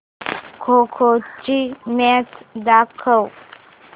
खो खो ची मॅच दाखव